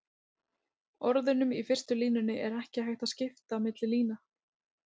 orðunum í fyrstu línunni er ekki hægt að skipta milli lína